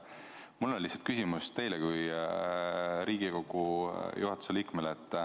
Mul on lihtsalt küsimus teile kui Riigikogu juhatuse liikmele.